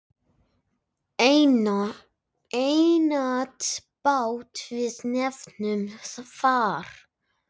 Einatt bát við nefnum far.